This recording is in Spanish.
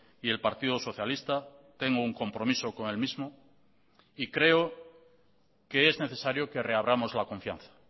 y el partido socialista tengo un compromiso con el mismo y creo que es necesario que reabramos la confianza